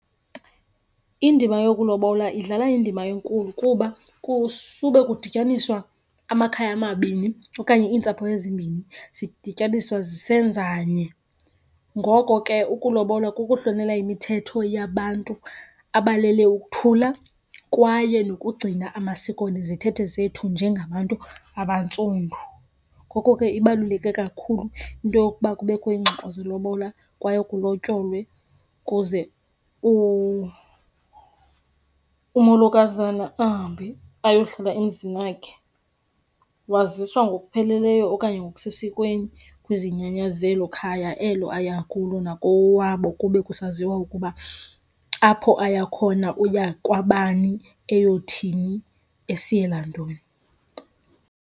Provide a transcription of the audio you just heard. Indima yokulobola idlala indima enkulu kuba kusube kudityaniswa amakhaya amabini okanye iintsapho ezimbini, zidityaniswa zisenzanye. Ngoko ke ukulobola kukuhlonela imithetho yabantu abalele ukuthula kwaye nokugcina amasiko nezithethe zethu njengabantu abantsundu. Ngoko ke ibaluleke kakhulu into yokuba kubekho iingxoxo zelobola kwaye kulotyolwe ukuze umolokazana ahambe ayohlala emzini wakhe. Waziswa ngokupheleleyo okanye ngokusesikweni kwizinyanya zelo khaya elo aya kulo nakowabo kube kusaziwa ukuba apho aya khona uya kwabani, eyothini, esiyela ntoni.